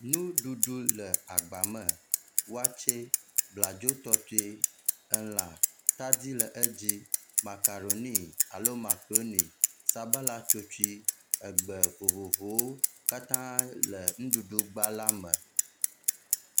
nuɖuɖu le agba me wɔtsɛ abladzo tɔtoe elã atadi le edzi makaroni alo makroni sabala tsotsui egbe vovovowo katã le ŋuɖuɖu gba la me